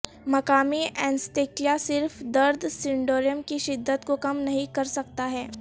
مقامی اینستیکیا صرف درد سنڈروم کی شدت کو کم نہیں کرسکتا ہے